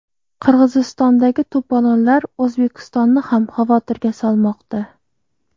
Qirg‘izistondagi to‘polonlar O‘zbekistonni ham xavotirga solmoqda.